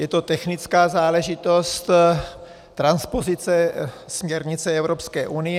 Je to technická záležitost, transpozice směrnice Evropské unie.